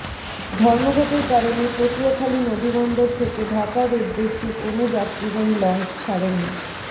ধর্মঘটের কারণে পটুয়াখালী নদীবন্দর থেকে ঢাকার উদ্দেশ্যে কোন যাত্রীবাহী লঞ্চ ছাড়েনি